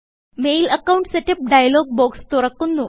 mail account setup dialog box തുറക്കുന്നു